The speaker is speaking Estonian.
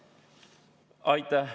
Aitäh!